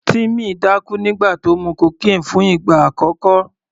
Timmy dákú nígbà tó mu cocaine fún ìgbà àkọ́kọ́.